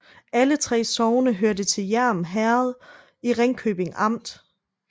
Alle 3 sogne hørte til Hjerm Herred i Ringkøbing Amt